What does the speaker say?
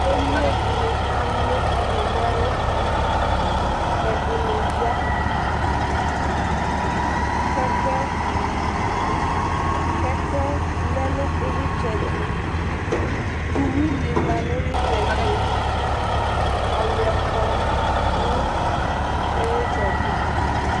Emlo dɩnɩ alʋ ɔnʋ nʋ ɛlʋ Ɛdɩnɩ ya Kɛkɛ si kɛkɛ lɛ nʋ ɩɣlɩtsɛ dɩ tʋ Uyui lɩla nʋ ɩɣlɩtsɛ tʋ Ɔyʋɛ kɔ nʋ ɩɣlɩtsɛ tʋ